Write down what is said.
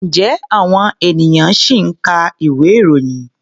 Ǹjẹ́ àwọn ènìyàn ṣì ń ka ìwé-ìròyìn?